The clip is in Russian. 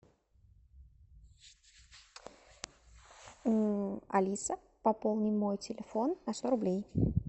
алиса пополни мой телефон на сто рублей